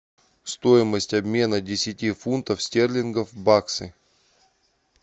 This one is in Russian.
стоимость обмена десяти фунтов стерлингов в баксы